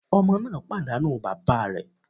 Ọmọ náà pàdánù bàbá rẹ̀.